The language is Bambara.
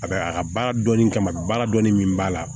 A bɛ a ka baara dɔnnin kama baara dɔɔni min b'a la